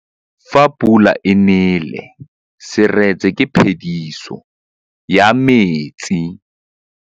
Fa pula e nelê serêtsê ke phêdisô ya metsi.